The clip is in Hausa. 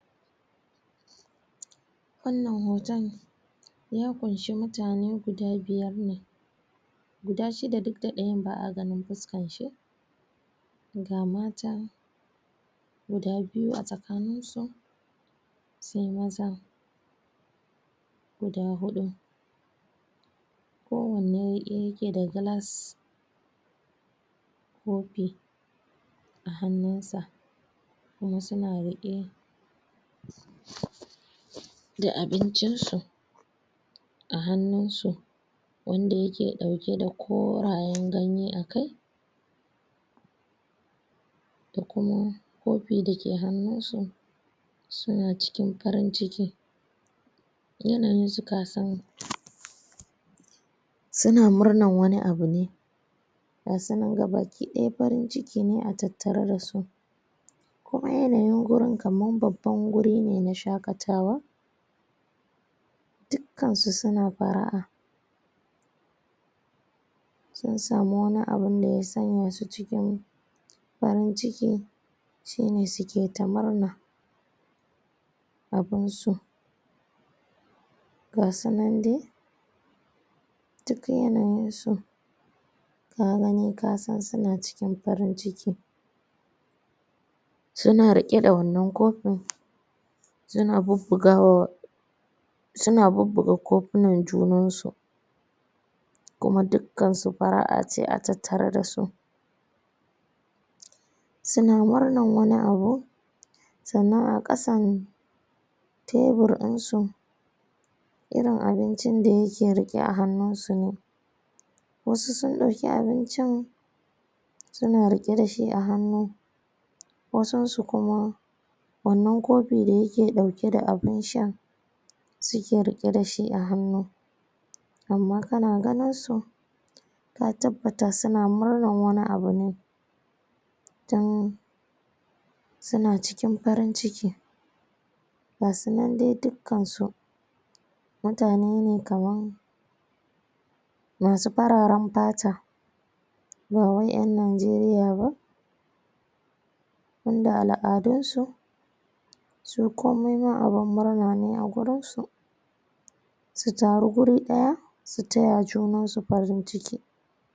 wannan hoton ya kunshe mutane guda biyar ne guda shida duk da dayan ba'a ganin fuskan shi ga mata guda biyu a tsakanin su sai mazan guda hudu kowanne rike da glass kofi a hannun sa kuma suna rike da abincin su a hannun su wanda yake dauke da korayen ganye a kai da kuma kofi da ke hannun su suna cikin farin ciki yanayin su kasan suna murnan wani abu ne ga su nan gabaki daya farin ciki ne a tattatare dasu kuma yanayin gurin kaman baban guri ne na shakatawa dukkan su suna far'a sun samu wani abun da ya sanya su cikin farin ciki shine suke ta murna abun su ga su nan dai duk yanayin su ka gani ka san suna cikin farin ciki suna rike da wannan kofin suna bubbugawa suna bubbuga kofunan junan su kuma dukkansu far'a ce a tattare da su suna murnan wani abu sannan a kasan tabur dinsu irin abincin da yake rike a hannun su ne wasu sun dauki abincin suna rike dashi a hannu wasun su kuma wannan kofi da yake dauki da abun sha suke rike dashi a hannu amma kana ganin su ka tabbata suna murnan wani abu ne tun suna cikin farin ciki gasu nan dai dukkan su mutane ne kaman masu fararen fata ba wai en nijeriya ba tun da al'adun su su komai ma abun murna ne a gurinsu su taru guri daya su taya junan su farin ciki